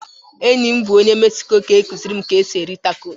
Enyi m bụ onye Mexico ga-akụziri m ka esi eri tacos